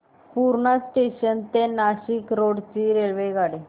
Purna junction ते Nashik road ची रेल्वेगाडी